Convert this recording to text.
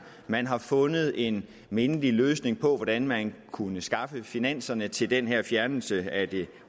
man har fundet en mindelig løsning på hvordan man kunne skaffe finanserne til den her fjernelse af den